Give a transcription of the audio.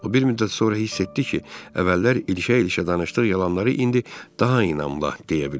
O bir müddət sonra hiss etdi ki, əvvəllər ilşə-ilşə danışdığı yalanları indi daha inanla deyə bilir.